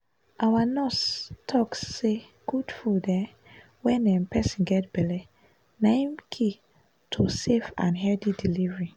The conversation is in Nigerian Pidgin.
our nurse talk say good food um wen um person get belle na ehm key to safe and healthy delivery.